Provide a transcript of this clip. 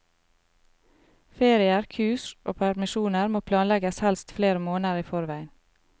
Ferier, kurs og permisjoner må planlegges helst flere måneder i forveien.